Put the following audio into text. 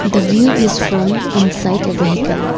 The view is from inside a vehicle.